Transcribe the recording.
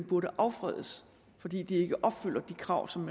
burde affredes fordi de ikke opfylder de krav som